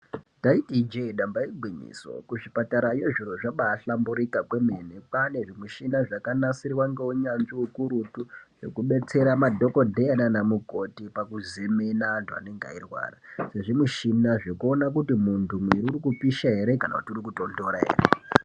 Ndaiti ijee, nyamba igwinyiso, kuchipatarayo zviro zvambaahlamburuka kwemene. kwanezvimushina zvakanasirwa ngeunyanzvi ukurutu zvokubetsera madhokodheya nanamukoti pakuzemena antu anenge eirwara, nezvimushini zvokuona muntu kuti muwiri urikupisha ere kana kuti urikutonhora ere .